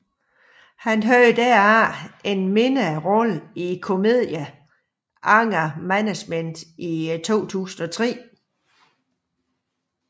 Han havde derefter en mindre rolle i komedie Anger Management i 2003